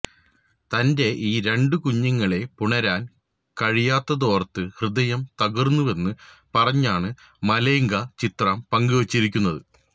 തന്റെ ഈ രണ്ടു കുഞ്ഞുങ്ങളെ പുണരാൻ കഴിയാത്തതോർത്ത് ഹൃദയം തകരുന്നുവെന്ന് പറഞ്ഞാണ് മലൈക ചിത്രം പങ്കുവച്ചിരുന്നത്